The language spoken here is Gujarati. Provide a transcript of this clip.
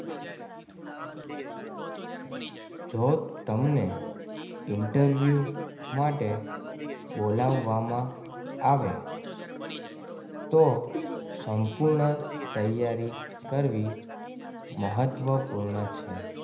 જો તમને ઇન્ટરવ્યૂ માટે બોલાવવામાં આવે. તો સંપૂર્ણ તૈયારી કરવી મહત્વપૂર્ણ છે.